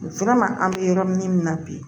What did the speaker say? an bɛ yɔrɔ min na bi